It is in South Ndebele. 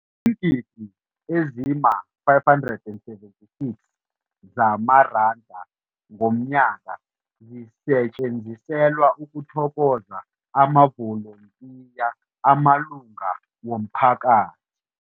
Iingidi ezima-576 zamaranda ngomnyaka zisetjenziselwa ukuthokoza amavolontiya amalunga womphakathi.